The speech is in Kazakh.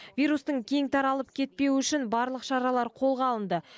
вирустың кең таралып кетпеуі үшін барлық шаралар қолға алынды